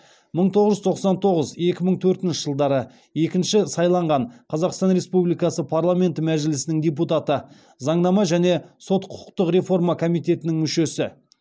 мың тоғыз жүз тоқсан тоғыз екі мың төртінші жылдары екінші сайланған қазақстан республикасы парламенті мәжілісінің депутаты заңнама және сот құқықтық реформа комитетінің мүшесі